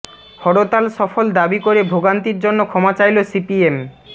হরতাল সফল দাবি করে ভোগান্তির জন্য ক্ষমা চাইল সিপিএম